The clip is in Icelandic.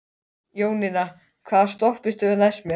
Jóninna, hvaða stoppistöð er næst mér?